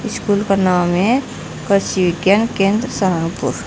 School का नाम है कृषि विज्ञान केंद्र सहारनपुर।